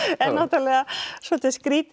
er náttúrulega svolítið skrýtið